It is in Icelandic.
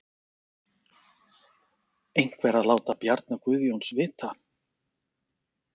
Einhver að láta Bjarna Guðjóns vita?